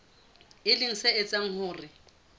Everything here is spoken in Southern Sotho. e leng se etsang hore